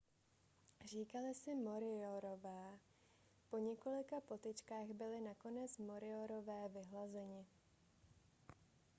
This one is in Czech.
říkali si moriorové po několika potyčkách byli nakonec moriorové vyhlazeni